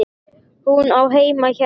Hún á heima hérna!